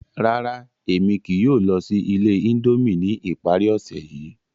Rárá, Emi kii yóò lọ si ile Indomie ni ipari ose yii.